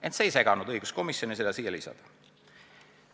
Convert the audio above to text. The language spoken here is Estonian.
Ent see ei seganud õiguskomisjonil seda punkti siia lisada.